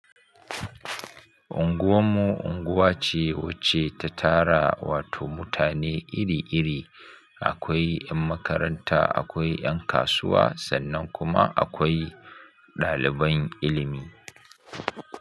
Unguwar mu unguwa ce wacce ta tara wato mutane iri iri, akwai yan makaranta, akwai yan kasuwa sannan kuma akwai ɗaliban ilimi.